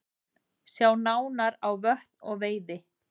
Sjá nánar á Vötn og veiði